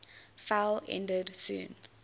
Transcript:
fell ended soon